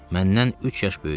Məndən üç yaş böyük idi.